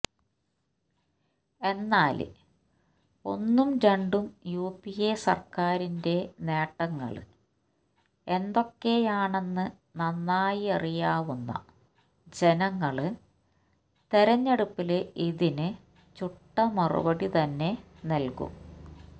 എന്നാല് ഒന്നും രണ്ടും യുപിഎ സര്ക്കാരിന്റെ നേട്ടങ്ങള് എന്തൊക്കെയാണെന്ന് നന്നായറിയാവുന്ന ജനങ്ങള് തെരഞ്ഞെടുപ്പില് ഇതിന് ചുട്ട മറുപടി തന്നെ നല്കും